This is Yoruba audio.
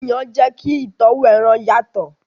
Yíyan jẹ kí ìtọ́wò ẹran yàtọ̀.